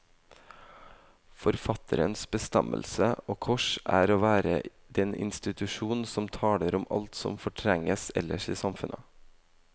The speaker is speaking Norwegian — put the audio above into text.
Forfatterens bestemmelse, og kors, er å være den institusjon som taler om alt som fortrenges ellers i samfunnet.